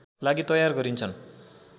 लागि तयार गरिन्छन्